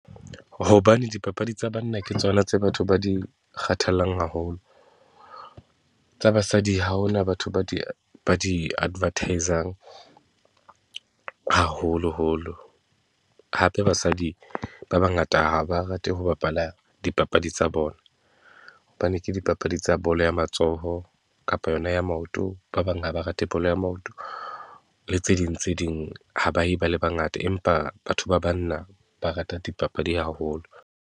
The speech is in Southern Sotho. Hobane dipapadi tsa banna ke tsona tse batho ba di kgathallang haholo. Tsa basadi ha hona batho ba di, ba di-advertise-ang haholoholo, hape basadi ba bangata ha ba rate ho bapala dipapadi tsa bona, hobane ke dipapadi tsa bolo ya matsoho kapa yona ya maoto, ba bang ha ba rate bolo ya maoto le tse ding tse ding. Ha ba ye ba le bangata empa batho ba banna ba rata dipapadi haholo.